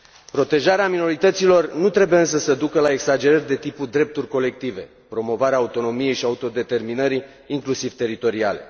Protejarea minorităților nu trebuie însă să ducă la exagerări de tipul drepturi colective, promovarea autonomiei și autodeterminării, inclusiv teritoriale.